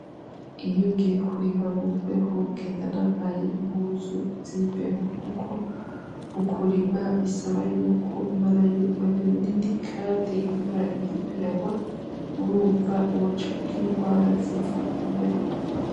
Iyo ugiye kurima mumbeho ugenda wambaye impuzi zimbeho kuko mukurima bisaba yuko umarayo umwanya munini kandi invura iba iriko iragwa, urunva woca ugira inrwara ziva kumbeho.